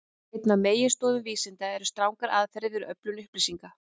Ein af meginstoðum vísinda eru strangar aðferðir við öflun upplýsinga.